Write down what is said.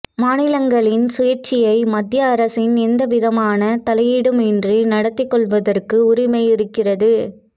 மாநிலங்களின் சுயாட்சியை மத்திய அரசின் எந்த விதமான தலையீடுமின்றி நடத்திக் கொள்வதற்கு உரிமை இருக்கிறது